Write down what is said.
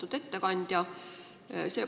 Lugupeetud juhataja!